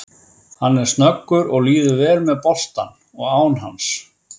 Hann er snöggur og líður vel með boltann og án hans.